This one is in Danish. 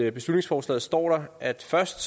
i beslutningsforslaget står at først